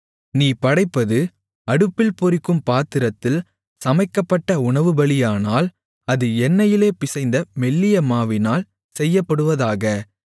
நீ படைப்பது அடுப்பில் பொரிக்கும் பாத்திரத்தில் சமைக்கப்பட்ட உணவு பலியானால் அது எண்ணெயிலே பிசைந்த மெல்லிய மாவினால் செய்யப்படுவதாக